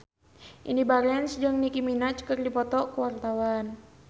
Indy Barens jeung Nicky Minaj keur dipoto ku wartawan